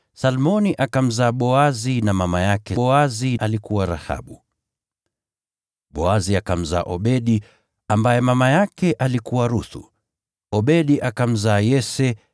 Salmoni akamzaa Boazi, na mama yake Boazi alikuwa Rahabu, Boazi akamzaa Obedi, ambaye mama yake alikuwa Ruthu, Obedi akamzaa Yese,